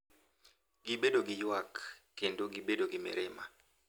Gibedo gi ywak, kendo gibet gi mirima,